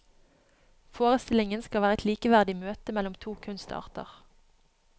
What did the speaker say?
Forestillingen skal være et likeverdig møte mellom to kunstarter.